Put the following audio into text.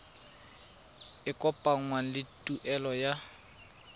e kopanngwang le tuelo ya